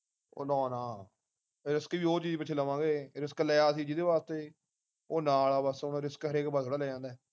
ਉਹ ਨਾ ਨਾਰਿਸ੍ਕ ਵੀ ਉਹ ਚੀਜ ਪਿੱਛੇ ਲਵਾਂਗੇ ਰਿਸ੍ਕ ਲਿਆ ਸੀ ਜਿਹਦੇ ਵਾਸਤੇ ਉਹ ਨਾਲ ਆ ਬਸ ਹੁਣ ਰਿਸ੍ਕ ਇਕ ਵਾਰ ਥੋੜਾ ਲਿਆ ਜਾਂਦਾ